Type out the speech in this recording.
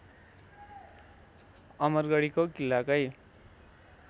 अमरगढीको किल्लाकै